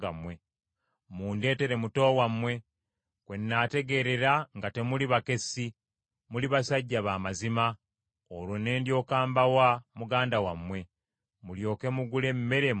Mundeetere muto wammwe, kwe nnaategeerera nga temuli bakessi, muli basajja b’amazima, olwo ne ndyoka mbawa muganda wammwe, mulyoke mugule emmere mu nsi eno.’ ”